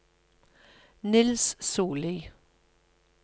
Niels Sollie